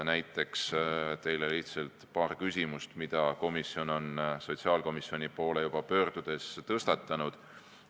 Näiteks toon teile lihtsalt paar küsimust, mida komisjon on sotsiaalkomisjoni poole pöördudes tõstatanud.